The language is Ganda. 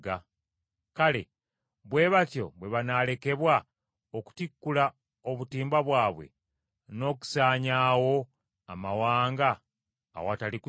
Kale, bwe batyo bwe banaalekebwa okutikkula obutimba bwabwe, n’okusaanyaawo amawanga awatali kusaasira?